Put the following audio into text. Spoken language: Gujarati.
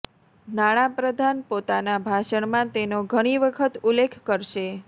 નાણાં પ્રધાન પોતાના ભાષણમાં તેનો ઘણી વખત ઉલ્લેખ કરશે